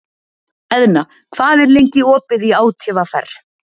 Eðna, hvað er lengi opið í ÁTVR?